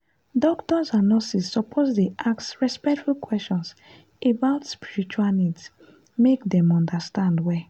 doctors and nurses suppose dey ask respectful questions about spiritual needs make dem understand well.